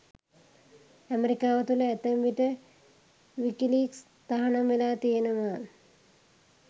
ඇමරිකාව තුළ ඇතැම් විට විකිලීක්ස් තහනම් වෙලා තියෙනවා.